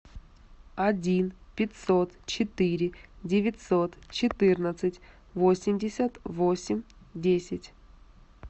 один пятьсот четыре девятьсот четырнадцать восемьдесят восемь десять